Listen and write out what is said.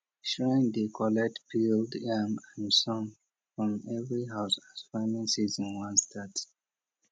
shrine dey collect peeled yam and song from every house as farming season wan start